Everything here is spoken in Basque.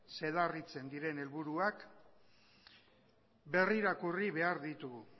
zedarritzen diren helburuak berrirakurri behar ditugu